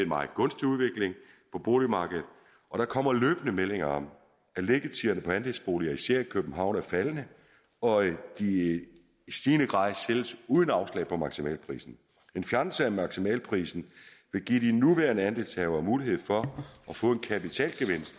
meget gunstig udvikling på boligmarkedet og der kommer løbende meldinger om at liggetiderne på andelsboliger især i københavn er faldende og at de i stigende grad sælges uden afslag på maksimalprisen en fjernelse af maksimalprisen vil give de nuværende andelshavere mulighed for at få en kapitalgevinst